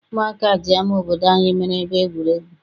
Ụmụaka ji ama obodo anyị meere ebe egwuregwu.